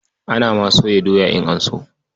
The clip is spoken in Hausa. Ana ma soya doya in an so.